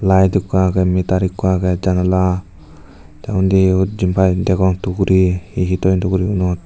layed ikko agey meter ikko agey janala tey undi jempai degong tukuri he he toyon tukurigunot.